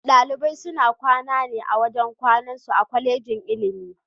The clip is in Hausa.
Dalibai suna kwana ne a wajen kwanan su a Kwallejin ilimi.